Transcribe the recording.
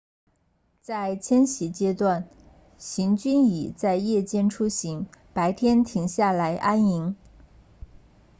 在迁徙阶段行军蚁在夜间出行白天停下来安营